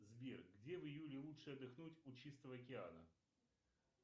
сбер где в июле лучше отдохнуть у чистого океана